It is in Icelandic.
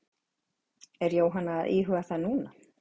En er Jóhanna að íhuga það núna?